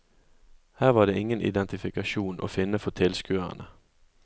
Her var det ingen identifikasjon å finne for tilskuerne.